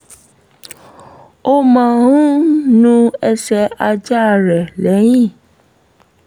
ó máa ń nu ẹsẹ̀ ajá rẹ̀ lẹ́yìn